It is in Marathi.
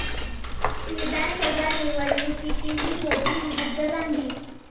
विधानसभा निवडणुकीतही मोदी विरुद्ध गांधी